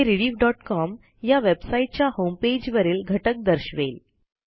हे rediffकॉम या वेबसाईटच्या होमपेजवरील घटक दर्शवेल